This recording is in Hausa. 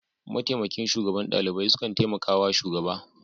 Mataimakin shugaban ɗalibai sukan taimaka wa shugaba.